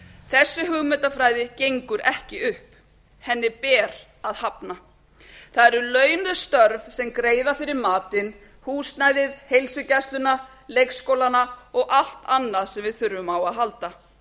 þessi hugmyndafræði gengur ekki upp henni ber að hafna það eru launuð störf sem greiða fyrir matinn húsnæðið heilsugæsluna leikskólana og allt annað sem við þurfum á að halda